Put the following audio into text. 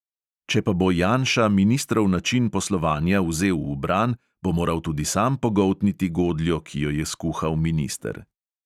Če pa bo janša ministrov način poslovanja vzel v bran, bo moral tudi sam pogoltniti godljo, ki jo je skuhal minister.